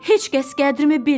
Heç kəs qədrini bilmir.